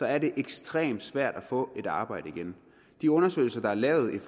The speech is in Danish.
er det ekstremt svært at få et arbejde igen de undersøgelser der er lavet